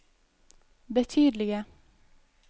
betydelige